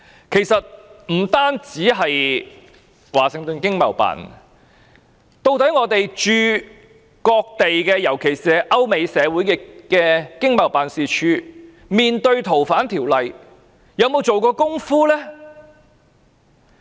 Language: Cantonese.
其實，不單是華盛頓經貿辦，究竟我們駐各地——特別是歐美社會的經貿辦，面對該條例修訂時有沒有做準備工夫呢？